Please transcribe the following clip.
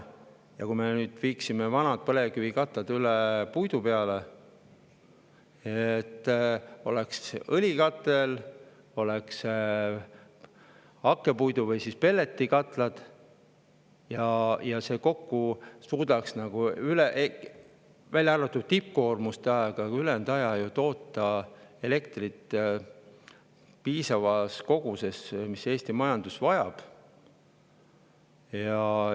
Ja kui me viiksime vanad põlevkivikatlad üle puidule, siis oleks õlikatel ja hakkepuidu‑ või pelletikatlad ning need kokku suudaks, välja arvatud tippkoormuste ajal – ülejäänud ajal –, toota elektrit piisavas koguses,, kui Eesti majandus vajab.